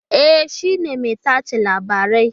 E, shi ne mai tace labarai